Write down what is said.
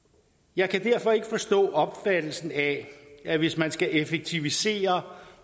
jeg kan derfor ikke forstå opfattelsen af at hvis man skal effektivisere